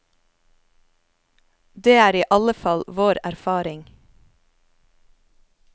Det er i alle fall vår erfaring.